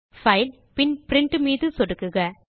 file பின் print மீது சொடுக்குக